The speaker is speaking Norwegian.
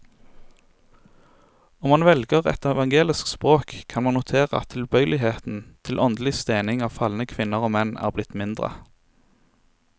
Om man velger et evangelisk språk, kan man notere at tilbøyeligheten til åndelig stening av falne kvinner og menn er blitt mindre.